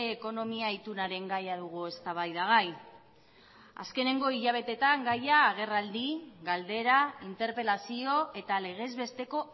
ekonomia itunaren gaia dugu eztabaida gai azkeneko hilabeteetan gaia agerraldi galdera interpelazio eta legezbesteko